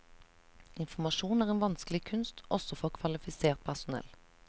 Informasjon er en vanskelig kunst også for kvalifisert personell.